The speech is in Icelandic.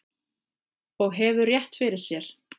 Og hefur rétt fyrir sér.